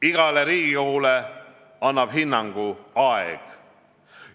Igale Riigikogule annab hinnangu aeg.